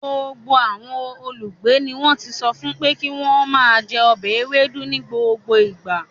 Gbogbo àwọn olùgbé ni wọ́n ti sọ fún pé kí wọ́n máa jẹ ọbẹ̀ ewuro ní gbogbo ìgbà.